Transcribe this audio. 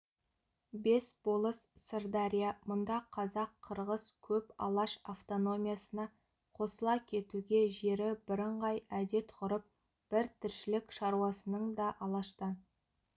бес болыс сырдария мұнда қазақ-қырғыз көп алаш автономиясына қосыла кетуге жері бірыңғай әдет-ғұрып бір тіршілік шаруасының да алаштан